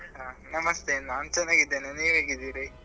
ಹ ನಮಸ್ತೆ ನಾನ್ ಚೆನ್ನಾಗಿದ್ದೇನೆ ನೀವ್ ಹೇಗಿದ್ದೀರಿ ?